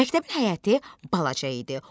Məktəbin həyəti balaca idi.